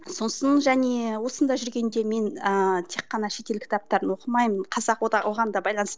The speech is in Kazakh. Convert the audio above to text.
сосын және осында жүргенде мен ыыы тек қана шетел кітаптарын оқымаймын қазақ оған да